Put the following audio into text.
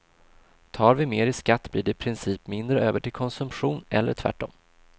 Tar vi mer i skatt blir det i princip mindre över till konsumtion eller tvärtom.